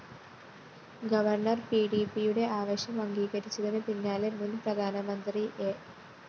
governor പിഡിപിയുടെ ആവശ്യം അംഗീകരിച്ചതിനു പിന്നാലെ മുന്‍ പ്രധാനമന്ത്രി എ